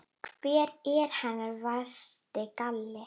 Hver er hennar versti galli?